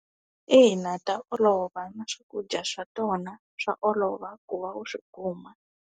Ina, ta olova na swakudya swa tona swa olova ku va u swi kuma.